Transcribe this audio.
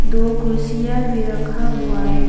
दो कुर्सियां भी रखा हुआ है।